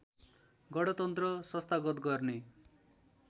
गणतन्त्र संस्थागत गर्ने